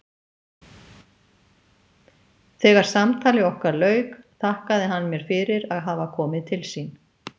Þegar samtali okkar lauk þakkaði hann mér fyrir að hafa komið til sín.